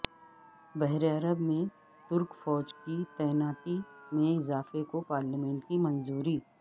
بحیرہ عرب میں ترک فوج کی تعیناتی میں اضافے کو پارلیمنٹ کی منظوری